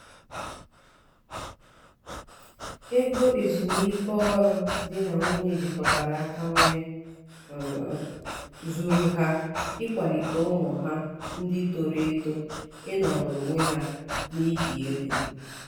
ego ezumiike ọrụ di na nwunye jikọtara aka nwee zuuru ha ịkwalite ụmụ ha ndị toro eto ịnọrọ onwe ha n'ihe ego.